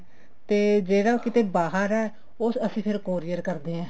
ਤੇ ਜਿਹੜਾ ਕਿਤੇ ਬਾਹਰ ਹੈ ਉਹ ਅਸੀਂ ਫ਼ੇਰ courier ਕਰਦੇ ਹਾਂ